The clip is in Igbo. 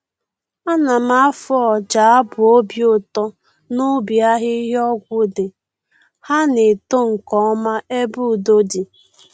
Ana m afụ ọja abụ obi ụtọ n'ubi ahịhịa ọgwụ dị, ha na-eto nkeọma ebe udo di.